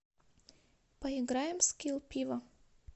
поиграем в скилл пиво